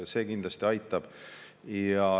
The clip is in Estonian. See kindlasti aitab.